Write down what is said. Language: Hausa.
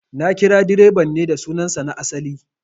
Na kira direban ne da sunan sa na asali